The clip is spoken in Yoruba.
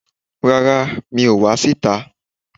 Rárá, mi ò wá sí ìta